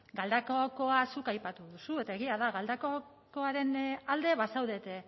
galdakaokoa zuk aipatu duzu eta egia da galdakaokoaren alde bazaudete